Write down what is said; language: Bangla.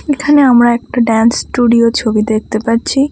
এখানে আমরা একটা ড্যান্স স্টুডিয়ো -এর ছবি দেখতে পাচ্ছি।